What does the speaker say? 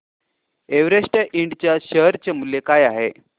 Everest Ind च्या share चे मूल्य काय आहे